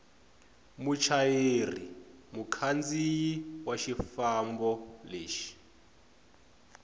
muchayeri mukhandziyi wa xifambo lexo